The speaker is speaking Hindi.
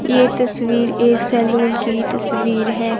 ये तस्वीर एक सैलून की तस्वीर है।